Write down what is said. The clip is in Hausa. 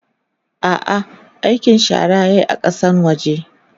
a'a aikin shara yayi a Kasan waje